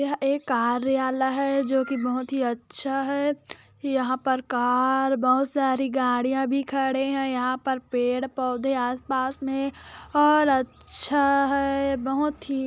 यह एक कार्यालय है जो की बहोत अच्छा है यहाँ पर कार बहोत सारी गाड़ियां भी खड़े है यहाँ पर पेड़-पौधे आसपास मे और अच्छा है बहोत ही--